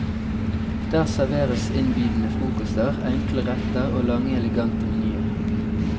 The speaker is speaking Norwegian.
Der serveres innbydende frokoster, enkle retter og lange elegante menyer.